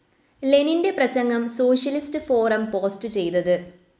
ലെനിൻ്റെ പ്രസംഗം socialist forum post ചെയ്തത്